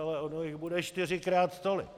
Ale ono jich bude čtyřikrát tolik.